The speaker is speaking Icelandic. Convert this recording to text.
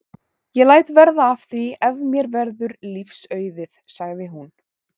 Ég læt verða af því ef mér verður lífs auðið sagði hún.